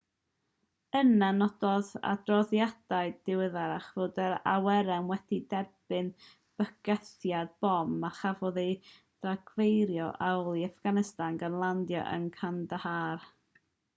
yna nododd adroddiadau diweddarach fod yr awyren wedi derbyn bygythiad bom a chafodd ei dargyfeirio yn ôl i affganistan gan landio yn kandahar